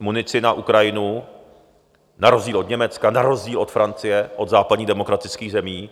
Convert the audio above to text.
munici na Ukrajinu, na rozdíl od Německa, na rozdíl od Francie, od západních demokratických zemí.